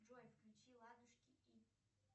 джой включи ладушки и